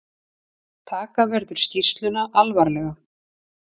Taka verður skýrsluna alvarlega